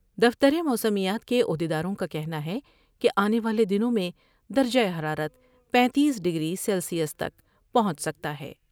دفتر موسمیات کے عہد یداروں کا کہنا ہے کہ آنے والے دنوں میں درجہ حرارت پینتیس ڈگری سیلیس تک پہنچ سکتا ہے ۔